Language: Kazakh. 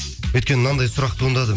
өйткені мынандай сұрақ туындады